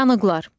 Yanıqlar.